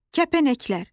Kəpənəklər.